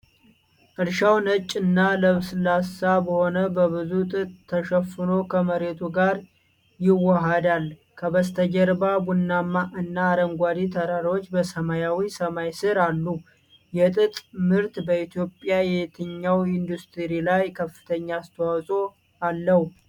እርሻው ነጭ እና ለስላሳ በሆኑ በብዙ ጥጥ ተሸፍኖ ከመሬቱ ጋር ይዋሃዳል። ከበስተጀርባ ቡናማ እና አረንጓዴ ተራሮች በሰማያዊ ሰማይ ስር አሉ። የጥጥ ምርት በኢትዮጵያ የትኛው ኢንዱስትሪ ላይ ከፍተኛ አስተዋፅኦ አለው?